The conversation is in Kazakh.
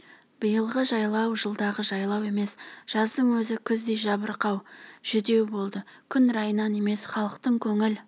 биылғы жайлау жылдағы жайлау емес жаздың өзі күздей жабырқау жүдеу болды күн райынан емес халықтың көңіл